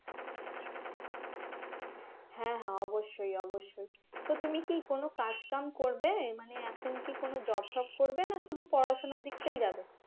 হ্যাঁ হ্যাঁ অবশ্যই অবশ্যই তো তুমি কি কোন কাজ কাম করবে হ্যাঁ এখন কি কোন job fob করবে না শুধু পড়াশোনার দিকটাই যাবে